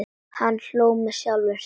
Hann hló með sjálfum sér.